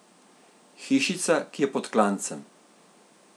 Hišica, ki je pod klancem.